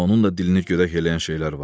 Amma onun da dilini görək eləyən şeylər var.